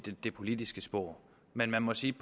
det politiske spor men man må sige